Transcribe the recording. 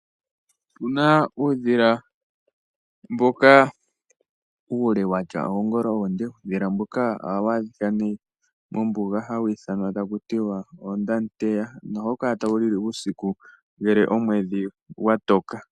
Opuna uudhila mboka uule watya oongolo oonde. Uudhila mboka ohawu adhika mombuga nohawu ithanwa taku tiwa oondamuteya nohawu kala tawu li li uusiku ngele omwedhi gwa toka.